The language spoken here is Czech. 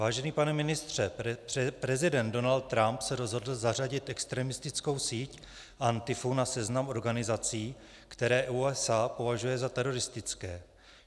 Vážený pane ministře, prezident Donald Trump se rozhodl zařadit extremistickou síť Antifu na seznam organizací, které USA považuje za teroristické.